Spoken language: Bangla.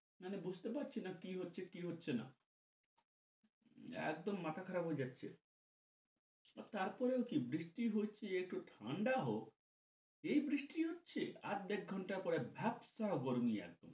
মানে বুঝতে পারছি না কি হচ্ছে কি হচ্ছেনা একদম মাথা খারাপ হয়ে যাচ্ছে। তারপরেও কি বৃষ্টি হচ্ছে একটু ঠান্ডা হও এই বৃষ্টি হচ্ছে আধ এক ঘন্টা পরে ভাপসা গমরি আরকি